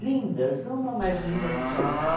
lindas, uma mais linda do que a outra.